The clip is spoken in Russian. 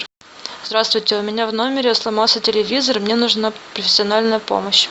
здравствуйте у меня в номере сломался телевизор мне нужна профессиональная помощь